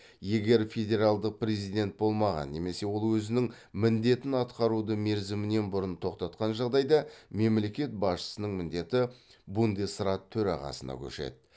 егер федералдық президент болмаған немесе ол өзінің міндетін атқаруды мерзімінен бұрын тоқтатқан жағдайда мемлекет басшысының міндеті бундесрат төрағасына көшеді